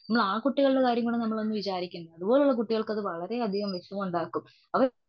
ആ കുട്ടികളുടെ കാര്യം ഒക്കെ ഒന്ന് വിചാരിക്കേണ്ട. അതുപോലുള്ള കുട്ടികൾക്ക് അത് വളരെ അധികം വിഷമം ഉണ്ടാക്കും.